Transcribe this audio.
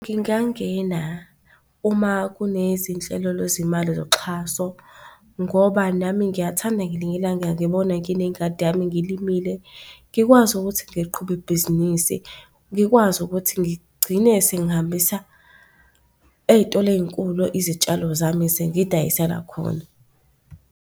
Ngingangena uma kunezinhlelo lwezimali zoxhaso, ngoba nami ngiyathanda ngelinye ilanga ngibone nginengadi yami, ngilimile ngikwazi ukuthi ngiliqhube ibhizinisi ngikwazi ukuthi ngigcine sengihambisa ey'tolo ey'nkulu izitshalo zami sengiy'dayisela khona.